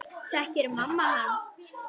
Þekkir mamma hann?